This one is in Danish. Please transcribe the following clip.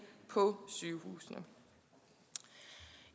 på sygehusene